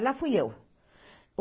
E lá fui eu.